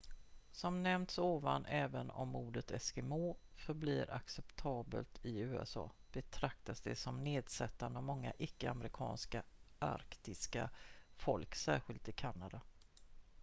"som nämnts ovan även om ordet "eskimo" förblir acceptabelt i usa betraktas det som nedsättande av många icke-amerikanska arktiska folk särskilt i kanada.